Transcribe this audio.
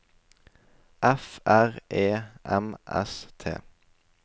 F R E M S T